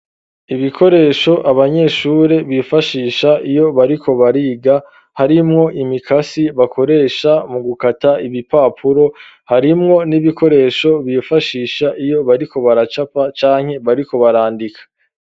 Ibikoresho, abanyeshure bifashisha, iyo bariko bariga; harimwo imikasi, bakoresha mu gukata ibipapuro, harimwo n'ibikoresho bifashisha, iyo bariko baracapa, canke bariko barandika.